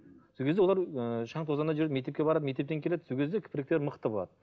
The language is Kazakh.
сол кезде олар ы шаң тозаңда жүріп мектепке барады мектептен келеді сол кезде мықты болады